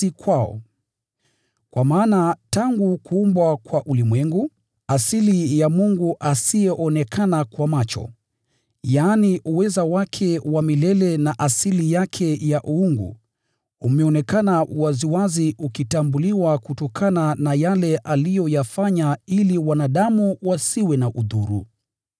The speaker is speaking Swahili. Kwa maana tangu kuumbwa kwa ulimwengu, asili ya Mungu asiyeonekana kwa macho, yaani, uweza wake wa milele na asili yake ya Uungu, imeonekana waziwazi, ikitambuliwa kutokana na yale aliyoyafanya ili wanadamu wasiwe na udhuru.